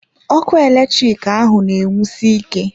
Ọkụ eletrik ahụ na enwusi ike.